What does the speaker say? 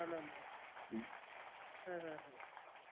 না না না হ্যাঁ হ্যাঁ হ্যাঁ